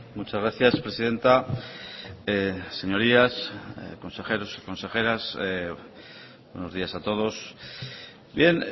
muchas gracias presidenta señorías consejeros consejeras buenos días a todos bien